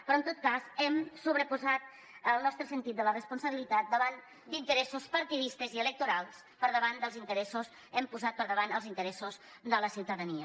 però en tot cas hem sobreposat el nostre sentit de la responsabilitat davant d’interessos partidistes i electorals hem posat per davant els interessos de la ciutadania